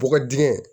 Bɔgɔ dingɛ